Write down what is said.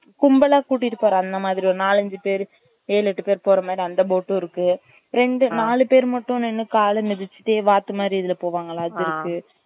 கும்மலா கூட்டிட்டு போற அந்த மாறி ஒரு நாலு அஞ்சு பேரு ஏழு எட்டு பேரு போற மாறி அந்த boat உம் இருக்கு ரெண்டு நாலு பேரு மட்டும் நின்னு காலு மிதிசிட்டே வாத்து மாறி இதுல போவாங்கள அது இருக்கு